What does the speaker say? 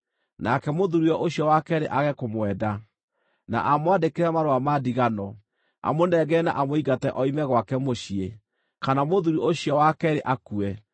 nake mũthuuriwe ũcio wa keerĩ age kũmwenda, na amwandĩkĩre marũa ma ndigano, amũnengere na amũingate oime gwake mũciĩ, kana mũthuuri ũcio wa keerĩ akue,